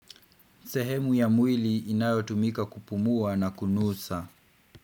Sehemu ya mwili inayotumika kupumua na kunusa.